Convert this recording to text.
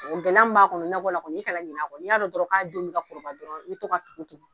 O gɛlɛya mun b'a kɔnɔ nakɔ la kɔni i ka na ɲinɛ kɔ, n'i y'a dɔn dɔrɔn k'a denw min ka kɔrɔbaya dɔrɔn i bi to ka tugu tugu